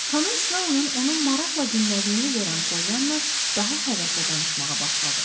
Xanım Snow-nun onun maraqla dinlədiyini görən Pollyanna daha həvəslə danışmağa başladı.